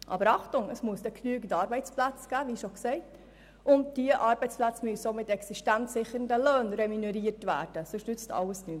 Aber Achtung, es muss dann – wie bereits gesagt – genügend Arbeitsplätze geben, und diese Arbeitsplätze müssen auch mit existenzsichernden Löhnen ausgestattet sein, denn sonst nützt alles nichts.